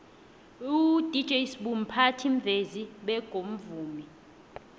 udj sbu mphathimvezi bego mvumi